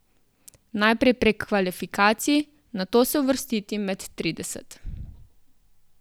Najprej prek kvalifikacij, nato se uvrstiti med trideset.